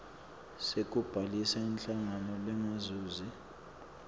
sekubhalisa inhlangano lengazuzi